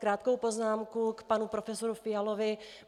Krátkou poznámku k panu profesoru Fialovi.